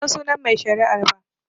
Bansan sunan mai shari'ar ba